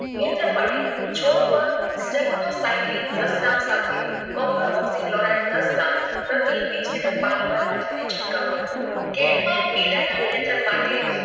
નિયંત્રણ માટે છોડ પર જબતો સાઇકલિંગ દસ gram સાથે copper oxychloride દસ gram પ્રતિ વિસ લીટર પાણી માં નાખીને છંટકાવ કરો. કેદ માં પીલા ના નિયંત્રણ માટે